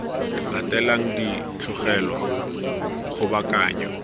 latelang di ka tlogelwa kgobokanyo